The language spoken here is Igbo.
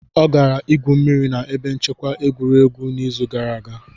Ọ gara igwu mmiri na ebe nchekwa egwuregwu n'izu gara aga.